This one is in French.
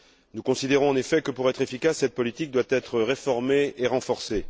Nous considérons en effet que, pour être efficace, cette politique doit être réformée et renforcée.